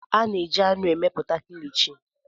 A na-eji anụ emepụta Kilichi.